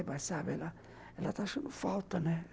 É, mas sabe, ela ela está achando falta, né?